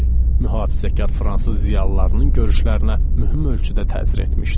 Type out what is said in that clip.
Mühafizəkar fransız ziyalılarının görüşlərinə mühüm ölçüdə təsir etmişdi.